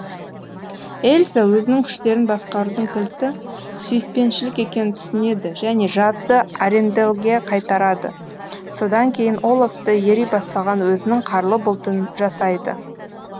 эльза өзінің күштерін басқарудың кілті сүйіспеншілік екенін түсінеді және жазды аренделлге қайтарады содан кейін оллафты ери бастаған өзінің қарлы бұлтын жасайды